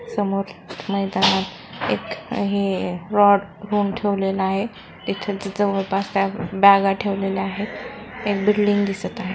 समोर मैदानात एक हे रॉड रोऊन ठेवलेला आहे इथं तिथं जवळपास ब्यागा ठेवलेल्या आहेत एक बिल्डिंग दिसत आहे.